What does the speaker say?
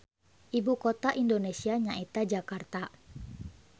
Ibu kota Indonesia nyaeta Jakarta.